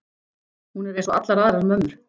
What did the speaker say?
Hún er einsog allar aðrar mömmur.